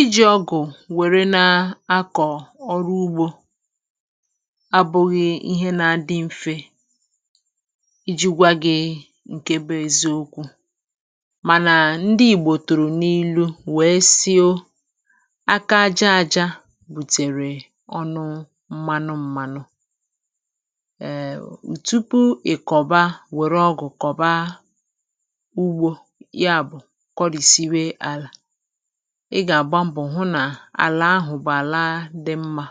Íji ọgụ̀ wère na-akọ̀ ọrụ ugbȯ abụghị̇ ihe na-adị mfè, iji̇ gwaghi̇ ṅ̀ke bụ̇ eziokwụ̀. Mànà ndị ìgbò tùrù n’ilu̇ wèe sịo; aka aja ȧjȧ bùtèrè ọnụ m̀manụ m̀manụ um. Tupụ̀ ikọ̀ba wére ọgụ̀ kọ̀ba ugbo yà bụ̀ kọ́risịbe àlà, ị́ gà-àgba mbọ̀ hụ nà àlà ahụ̀ bụ̀ àla dị mmȧ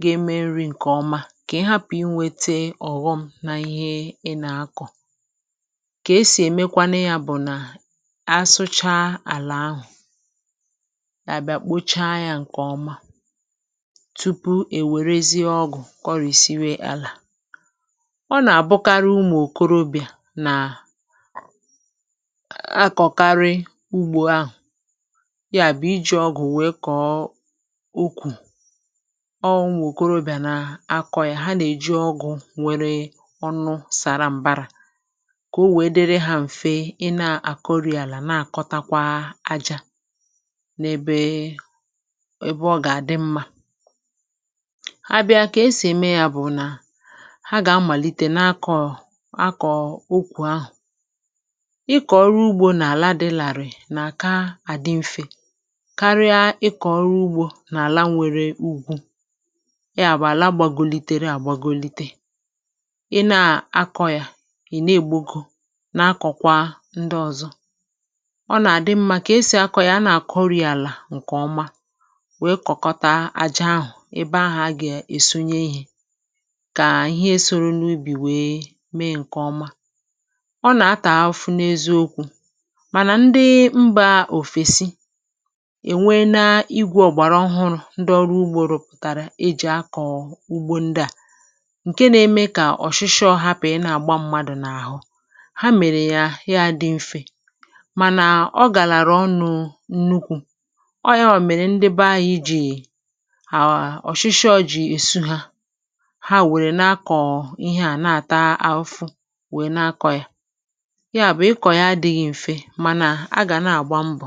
ga-eme nri̇ ǹkèọma; kà ị hapụ̀ inwėte ọ̀ghọm nà ihe ị nà-akọ̀. Kà esì èmekwanụ yȧ bụ̀ nà asụcha àlà ahụ̀, àbịa kpochaa yȧ ǹkèọma tupu èwèrezie ọgụ̀ kọrìsiwe àlà. Ọ nà-àbụkarị ụmụ̀ okorobịà nà[um] ákọkárị ugbò ahu yà bụ̀ iji̇ ọgụ̀ wèe kọ̀ọ ukwùu; ọwu ụmụ̀ okorobịà nà-akọ̇ yà, ha nà-èji ọgụ̀ nwere ọnụ sàra m̀barȧ kà o wèe dịrị hȧ m̀fe ị na-àkọrị àlà na-àkọtakwa ajȧ n’ebe ẹbẹ ọ gà-àdị mmȧ. Abịa kà esì ème yȧ bụ̀ nà ha gà-amàlite n’akọ̀ akọ̀ ukwùu ahụ̀. Ị́kọ̀ ọrụ ugbo na ala dị larịị na kà adị mfè karịa ị kọ̀ ọru ugbȯ n’àla nwere ùgwù; ya bụ̀ àla gbàgòlitere à gbàgòlite. Ị na-akọ̇ ya ị̀ na-ègbogo na-akọ̀kwa ndị ọ̀zọ̀; ọ nà-àdị mmȧ kà esì akọ̀ ya a nà-àkọrị àlà ǹkè ọma, wèe kọkọta aja ahụ̀ ebe ahụ̀ a gà-èsunye ihė kà ihe soro n’ubì wèe mee ǹkèọma. Ọ na-átà afufụ na eziokwụ̀ manà ndị mba ofesị̀ è nwee la igwė ọ̀gbàrà ọhụrụ̇ ndị ọrụ ugbȯ rụpụ̀tàrà e jì akọ̀ ugbȯ ndị à; ǹke na-eme kà ọ̀shịshọ hapụ̀ ị nà-àgba mmadụ̀ n’àhụ. Ha mèrè ya ya dị mfė, mànà ọ gàlàrà ọnụ̇ nnukwu̇. Ọọ̀ ya nwa mèrè ndị be anyị ji ọ̀shịshịọ̇ jì èsu hȧ, ha wèrè na-akọ̀ ihe à na-àta afụfụ wèe na-akọ̇ yȧ. Yà bụ̀ ị́kọ̀ ya adịghị mfè, mánà a ga na-agba mbọ.